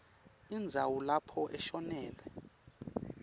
indzawo lapho ashonele